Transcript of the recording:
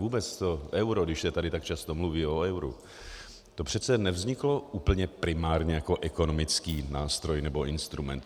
Vůbec to euro, když se tady tak často mluví o euru, to přece nevzniklo úplně primárně jako ekonomický nástroj nebo instrument.